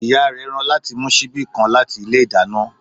Ìyá rẹ̀ rán láti mú síbi kan láti ilé ìdáná